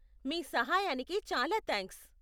మీ సహాయానికి చాలా థ్యాంక్స్.